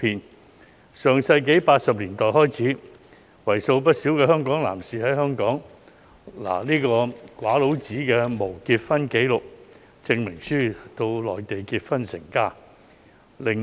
自上世紀80年代開始，為數不少的香港男士在港領取無結婚紀錄證明書後，到內地結婚成家。